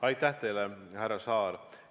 Aitäh teile, härra Saar!